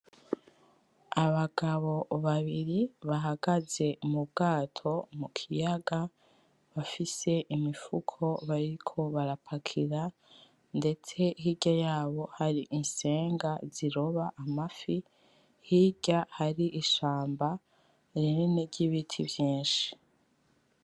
Abagabo babiri bahagaze mubwato mukiyaga bafise imifuko bariko barapakira ndetse hirya yabo hari insenga ziroba amafi hirya hari ishamba rinini ry'ibiti vyinshi.